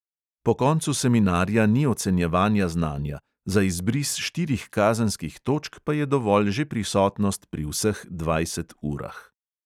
Po koncu seminarja ni ocenjevanja znanja, za izbris štirih kazenskih točk pa je dovolj že prisotnost pri vseh dvajset urah.